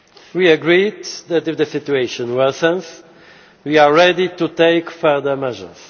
We agreed that if the situation worsens we are ready to take further measures.